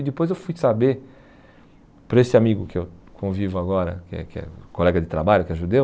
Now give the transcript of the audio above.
E depois eu fui saber para esse amigo que eu convivo agora, que é que é colega de trabalho, que é judeu.